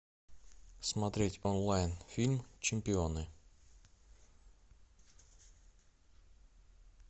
смотреть онлайн фильм чемпионы